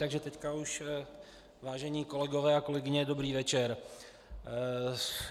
Takže teď už, vážení kolegové a kolegyně, dobrý večer.